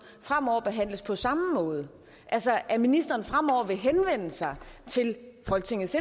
fremover behandles på samme måde altså at ministeren fremover vil henvende sig til folketingets